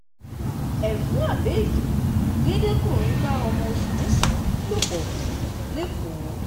ẹfun abéèdì gédé-kùnrin bá ọmọ oṣù mẹ́sàn-án lò pọ̀ lẹ́kọ̀ọ́